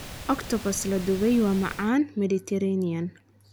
Octopus la dubay waa macaan Mediterranean.